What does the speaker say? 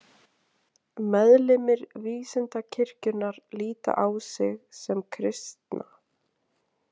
Meðlimir vísindakirkjunnar líta á sig sem kristna.